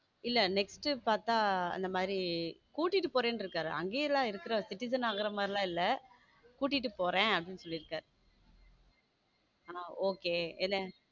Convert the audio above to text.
இல்ல next பார்த்தா அந்த மாதிரி கூட்டிட்டு போறேன் இருக்கார் அங்கேயே சிட்டிசன் ஆகுற மாதிரி எல்லாம் இல்ல கூட்டிட்டு போறேன் அப்படின்னு சொல்லி இருக்காரு நான் okay